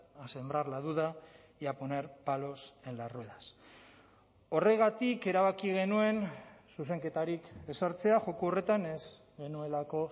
a sembrar la duda y a poner palos en las ruedas horregatik erabaki genuen zuzenketarik ez sartzea joko horretan ez genuelako